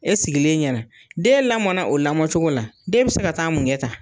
E sigilen ɲɛna den lamɔɔnna o lamɔɔcogo la, den bi se ka taa mun kɛ tan ?